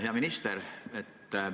Hea minister!